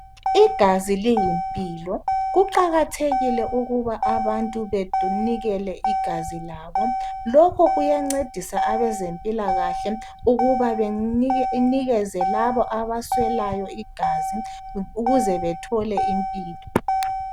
Igazi liyimpilo. Kuqakathekile ukuthi abantu bsnikeze igazi labo. Lokho kuyancedisa abezempilakahle ukuthi bamikeze labo abaswelayo igazi, ukuze bathole impilo.